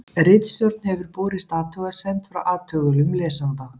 Ritstjórn hefur borist athugasemd frá athugulum lesanda.